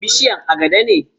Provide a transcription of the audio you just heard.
Bishiyar agada ne.